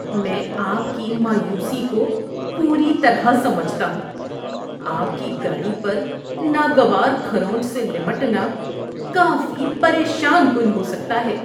میں آپ کی مایوسی کو پوری طرح سمجھتا ہوں۔ آپ کی گاڑی پر ناگوار کھرونچ سے نمٹنا کافی پریشان کن ہو سکتا ہے۔